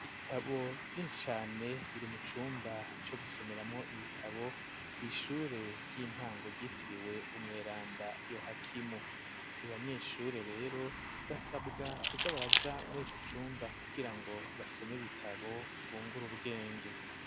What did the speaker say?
Ibitabo vy'inshi cane biri mu cumba co gusomeramwo ibitabo kw'nishure ry'intango ryitiriwe umweranda Yohakimu abanyeshure rero basabwa kuzabaraja muri ico cumba kugirango basome bitabo bungura ubwenge.